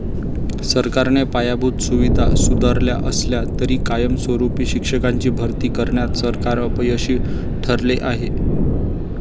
सरकारने पायाभूत सुविधा सुधारल्या असल्या तरी कायमस्वरुपी शिक्षकांची भरती करण्यात सरकार अपयशी ठरले आहे.